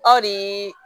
Aw ni